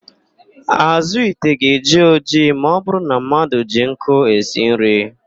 Àzụ́ ite ga-eji ojii ma ọbụrụ na mmadụ ji nkụ esi nri.